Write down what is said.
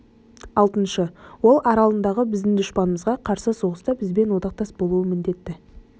алтыншы ол аралындағы біздің дұшпанымызға қарсы соғыста бізбенен одақтас болуға міндетті